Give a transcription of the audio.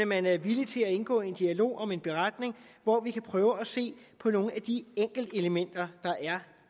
man er villig til at indgå i en dialog om en beretning hvor vi kan prøve at se på nogle af de enkeltelementer der er